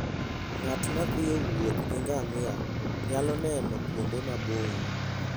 Ng'at ma thi e wuoth gi ngamia nyalo neno kuonde maboyo.